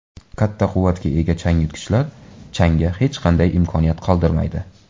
Katta quvvatga ega changyutgichlar changga hech qanday imkoniyat qoldirmaydi.